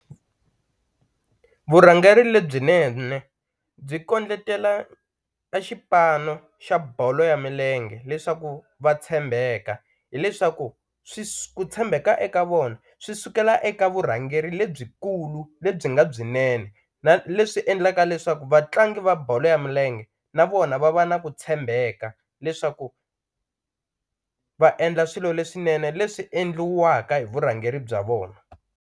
Vurhangeri lebyinene byi kondletela e xipano xa bolo ya milenge leswaku va tshembeka, hileswaku ku tshembeka eka vona swi sukela eka vurhangeri lebyikulu lebyi nga byinene na leswi endlaka leswaku vatlangi va bolo ya milenge na vona va va na ku tshembeka leswaku va endla swilo leswinene leswi endliwaka hi vurhangeri bya vona.